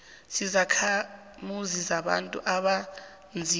zizakhamuzi zabantu abanzima